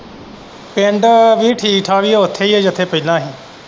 ਪਿੰਡ ਵੀ ਠੀਕ ਠਾਕ ਈ ਆ ਓਥੇ ਈ ਆ ਜਿਥੇ ਪਹਿਲਾਂ ਹੀ।